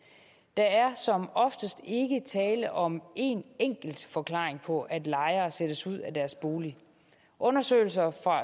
der er som oftest ikke tale om en enkelt forklaring på at lejere sættes ud af deres bolig undersøgelser